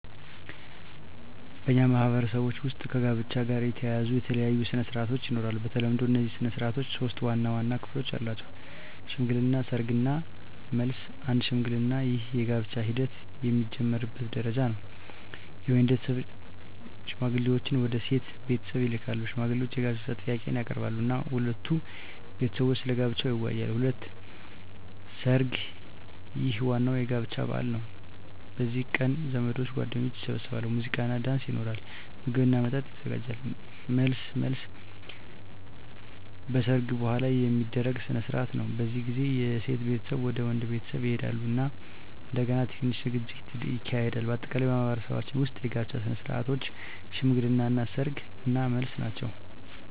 በእኛ ማህበረሰቦች ውስጥ ከጋብቻ ጋር የተያያዙ የተለያዩ ሥነ ሥርዓቶች ይኖራሉ። በተለምዶ እነዚህ ሥነ ሥርዓቶች ሶስት ዋና ዋና ክፍሎች አላቸው፦ ሽምግልና፣ ሰርግ እና መልስ። 1. ሽምግልና ይህ የጋብቻ ሂደት የሚጀምርበት ደረጃ ነው። የወንድ ቤተሰብ ሽማግሌዎችን ወደ ሴት ቤተሰብ ይልካሉ። ሽማግሌዎቹ የጋብቻ ጥያቄን ያቀርባሉ እና ሁለቱ ቤተሰቦች ስለ ጋብቻው ይወያያሉ። 2. ሰርግ ይህ ዋናው የጋብቻ በዓል ነው። በዚህ ቀን ዘመዶችና ጓደኞች ይሰበሰባሉ፣ ሙዚቃና ዳንስ ይኖራል፣ ምግብና መጠጥ ይዘጋጃል። 3. መልስ መልስ በሰርግ በኋላ የሚደረግ ሥነ ሥርዓት ነው። በዚህ ጊዜ የሴት ቤተሰብ ወደ ወንድ ቤተሰብ ይሄዳሉ እና እንደገና ትንሽ ዝግጅት ይካሄዳል። በአጠቃላይ በማኅበረሰባችን ውስጥ የጋብቻ ሥነ ሥርዓቶች ሽምግልና፣ ሰርግ እና መልስ ናቸው።